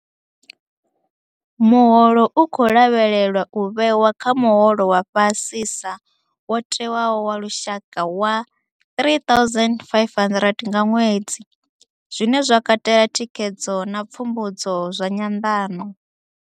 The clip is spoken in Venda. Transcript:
Muholo u khou lavhelelwa u vhewa kha muholo wa fhasisa wo tewaho wa lushaka wa R3500 nga ṅwedzi, zwine zwa katela thikhedzo na pfumbudzo zwa nyanḓano.